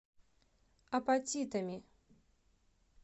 апатитами